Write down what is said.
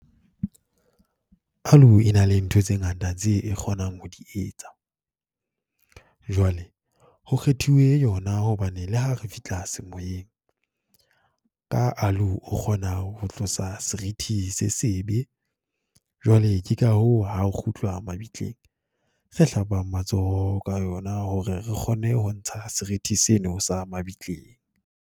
Aloe e na le ntho tse ngata tse e kgonang ho di etsa. Jwale, ho kgethiwe yona hobane le ha re fihla semoyeng, ka aloe o kgona ho tlosa seriti se sebe. Jwale ke ka hoo ha ho kgutlwa mabitleng, re hlapang matsoho ka yona hore re kgone ho ntsha seriti seno sa mabitleng.